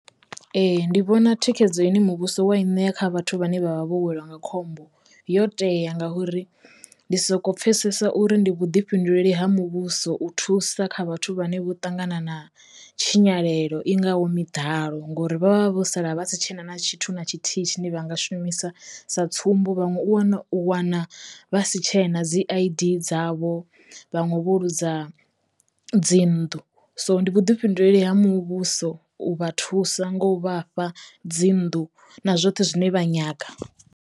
Ee. Ndi vhona thikhedzo ine muvhuso wa i ṋea kha vhathu vhane vha vha vho welwa nga khombo yo teya ngauri ndi soko pfhesesa uri ndi vhuḓifhinduleli ha muvhuso u thusa kha vhathu vhane vho ṱangana na tshinyalelo i ngaho miḓalo ngori vhavha vho sala vha si tshena na tshithu na tshithihi tshine vha nga shumisa sa tsumbo, vhaṅwe u wana u wana vha si tshena dzi I_D dzavho, vhanwe vho luza dzi nnḓu so ndi vhuḓifhinduleli ha muvhuso u vha thusa ngo u vhafha dzi nnḓu na zwoṱhe zwine vha nyaga.